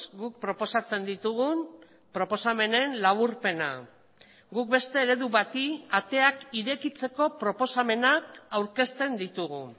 guk proposatzen ditugun proposamenen laburpena guk beste eredu bati ateak irekitzeko proposamenak aurkezten ditugu